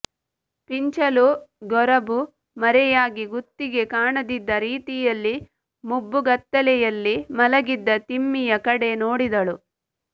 ಪೀಂಚಲು ಗೊರಬು ಮರೆಯಾಗಿ ಗುತ್ತಿಗೆ ಕಾಣದಿದ್ದ ರೀತಿಯಲ್ಲಿ ಮುಬ್ಬುಗತ್ತಲೆಯಲ್ಲಿ ಮಲಗಿದ್ದ ತಿಮ್ಮಿಯ ಕಡೆ ನೋಡಿದಳು